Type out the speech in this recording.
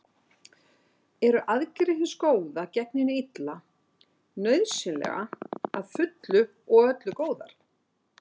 Eru aðgerðir hins góða gegn hinu illa nauðsynlega að fullu og öllu góðar?